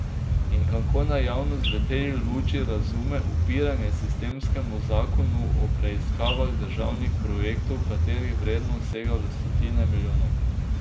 In kako naj javnost v tej luči razume upiranje sistemskemu zakonu o preiskavah državnih projektov, katerih vrednost sega v stotine milijonov?